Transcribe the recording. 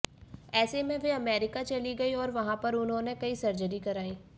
ऐसे में वे अमेरिका चली गईं और वहां पर उन्होंने कई सर्जरी कराई